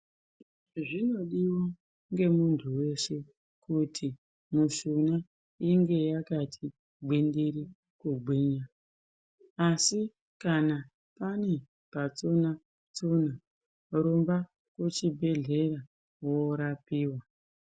Zvinodiwa ngumemuntu weshe kuti mishuna inge yakati gwindiri kugwinya asi kana pane patsuna tsuna rumba kuchibhedhlera worapiwa.